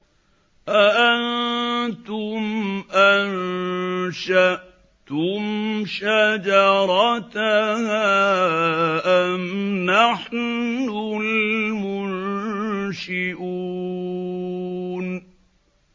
أَأَنتُمْ أَنشَأْتُمْ شَجَرَتَهَا أَمْ نَحْنُ الْمُنشِئُونَ